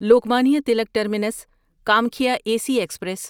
Lokmanya Tilak terminus Kamakhya A C express